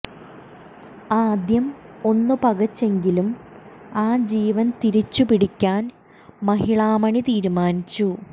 ആദ്യം ഒന്നു പകച്ചെങ്കിലും ആ ജീവൻ തിരിച്ചു പിടിക്കാൻ മഹിളാമണി തീരുമാനിച്ചു